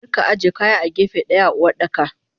Arika aje kaya a gefe daya a Uwardaka.